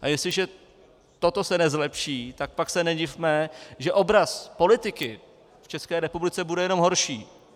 A jestliže se toto nezlepší, tak pak se nedivme, že obraz politiky v České republice bude jenom horší.